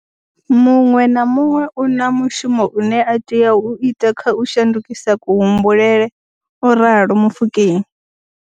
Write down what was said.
Muṅwe na muṅwe u na mushumo une a tea u ita kha u shandukisa kuhumbulele, o ralo Mofokeng.